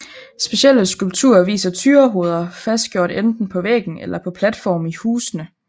Specielle skulpturer viser tyrehoveder fastgjort enten på væggen eller på platforme i husene